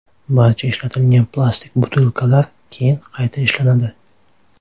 Barcha ishlatilgan plastik butilkalar keyin qayta ishlanadi.